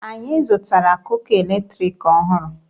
Anyị zụtara kuka eletriki ọhụrụ.